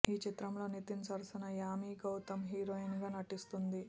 ఈ చిత్రంలో నితిన్ సరసన యామి గౌతమ్ హీరోయిన్ గా నటిస్తుంది